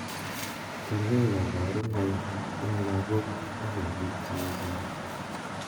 Kerkei kaparunaik eng lagok ak eng piik che chen